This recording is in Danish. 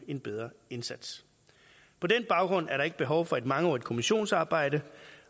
en bedre indsats på den baggrund er der ikke behov for et mangeårigt kommissionsarbejde